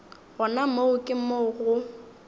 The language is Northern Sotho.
gona moo ke mo go